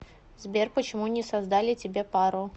сбер почему не создали тебе пару